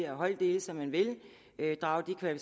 holddele som man vil drage